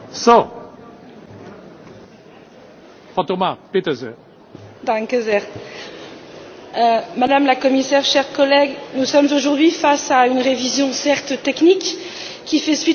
Monsieur le Président, Madame la Commissaire, chers collègues, nous sommes aujourd'hui face à une révision, certes technique, qui fait suite au retard très important dans la mise en œuvre des programmes opérationnels.